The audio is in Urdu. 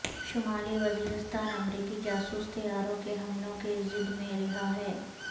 شمالی وزیرستان امریکی جاسوس طیاروں کے حملوں کی زد میں رہا ہے